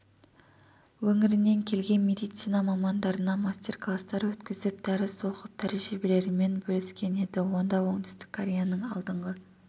өңірінен келген медицина мамандарына мастер-класстар өткізіп дәріс оқып тәжірибелерімен бөліскен еді онда оңтүстік кореяның алдыңғы